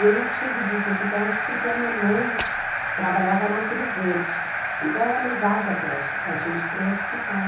Eu não tive dificuldade porque a mamãe trabalhava na cruzerte, então ela levava a gente para o hospital.